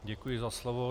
Děkuji za slovo.